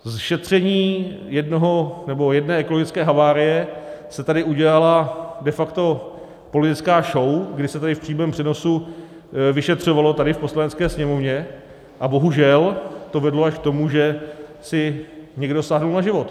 Ze šetření jedné ekologické havárie se tady udělala de facto politická show, kdy se tady v přímém přenosu vyšetřovalo, tady v Poslanecké sněmovně, a bohužel to vedlo až k tomu, že si někdo sáhl na život.